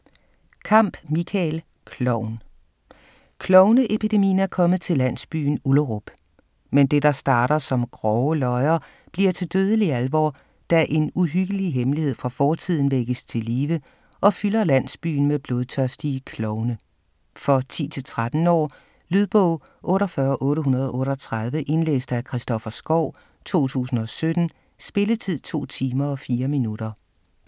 Kamp, Michael: Klovn Klovne-epidemien er kommet til landsbyen Ullerup. Men det, der starter som grove løjer, bliver til dødelig alvor, da en uhyggelig hemmelighed fra fortiden vækkes til live og fylder landsbyen med blodtørstige klovne. For 10-13 år. Lydbog 48838 Indlæst af Christoffer Skau, 2017. Spilletid: 2 timer, 4 minutter.